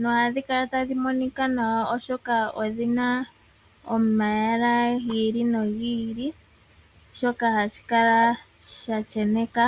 Nohadhi kala tadhi monika nawa, oshoka odhina omayala gi ili no gi ili shoka hashi kala sha sheneka.